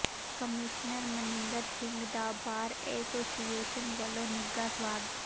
commissioner Maninder Singh ਦਾ bar association ਵੱਲੋਂ ਨਿੱਘਾ ਸਵਾਗਤ